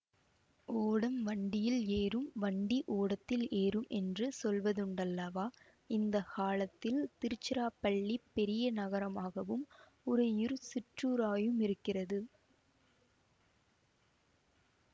ஓடம் வண்டியில் ஏறும் வண்டி ஓடத்தில் ஏறும் என்று சொல்வதுண்டல்லவா இந்த காலத்தில் திருச்சிராப்பள்ளி பெரிய நகரமாகவும் உறையூர் சிற்றூராயுமிருக்கிறது